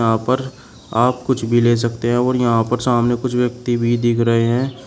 यहां पर आप कुछ भी ले सकते हैं और यहां पर सामने कुछ व्यक्ति भी दिख रहे हैं।